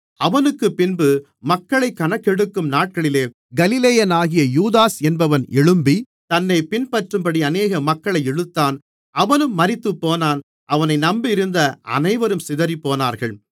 அவனுக்குப்பின்பு மக்களைக் கணக்கெடுக்கும் நாட்களிலே கலிலேயனாகிய யூதாஸ் என்பவன் எழும்பி தன்னைப் பின்பற்றும்படி அநேக மக்களை இழுத்தான் அவனும் மரித்துப்போனான் அவனை நம்பியிருந்த அனைவரும் சிதறிப்போனார்கள்